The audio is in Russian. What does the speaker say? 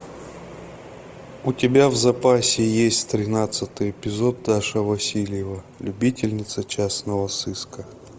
у тебя в запасе есть тринадцатый эпизод даша васильева любительница частного сыска